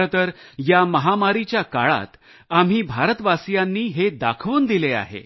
खरेतर या महामारीच्या काळात आम्ही भारतवासीयांनी हे दाखवून दिले आहे